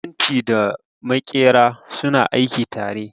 Masu fenti da maƙera suna aiki tare